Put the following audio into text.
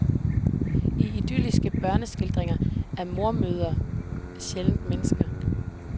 I idylliske børneskildringer er mormødre sjældent mennesker.